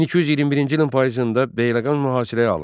1221-ci ilin payızında Beyləqan mühasirəyə alındı.